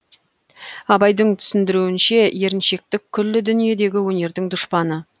абайдың түсіндіруінше еріншектік күллі дүниедегі өнердің дұшпаны